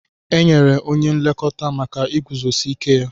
Enyere onye nlekọta maka iguzosi ike ya.